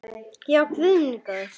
Já, guð minn góður.